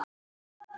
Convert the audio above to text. Drottin gaf.